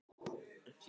Því fór, sem fór.